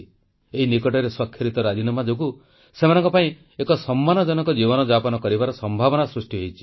ଏଇ ନିକଟରେ ସ୍ୱାକ୍ଷରିତ ରାଜିନାମା ଯୋଗୁଁ ସେମାନଙ୍କ ପାଇଁ ଏକ ସମ୍ମାନଜନକ ଜୀବନଯାପନ କରିବାର ସମ୍ଭାବନା ସୃଷ୍ଟି ହୋଇଛି